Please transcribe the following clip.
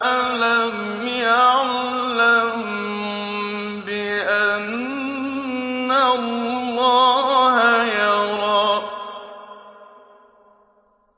أَلَمْ يَعْلَم بِأَنَّ اللَّهَ يَرَىٰ